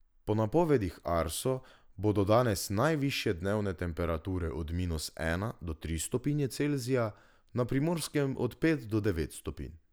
Po napovedih Arso bodo danes najvišje dnevne temperature od minus ena do tri stopinje Celzija, na Primorskem od pet do devet stopinj.